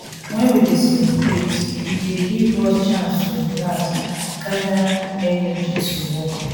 wen we dey celebrate e dey give us chance to relax gada energy to work.